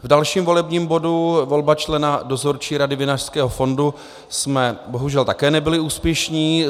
V dalším volebním bodu, volba člena Dozorčí rady Vinařského fondu, jsme bohužel také nebyli úspěšní.